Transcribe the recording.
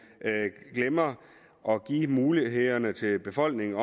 glemmer at give mulighederne til befolkningen